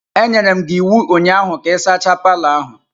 Enyere m gi iwu ụnyaahụ ka ị sachaa palọ ahụ!